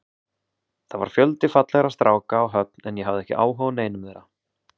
Það var fjöldi fallegra stráka á Höfn en ég hafði ekki áhuga á neinum þeirra.